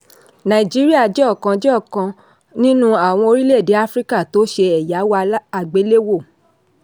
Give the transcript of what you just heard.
nàìjíríà jẹ́ ọ̀kan jẹ́ ọ̀kan nínú àwọn orílẹ̀-èdè áfíríkà tó ṣe ẹ̀yáwó àgbéléwò.